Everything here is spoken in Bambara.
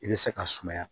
I bɛ se ka sumaya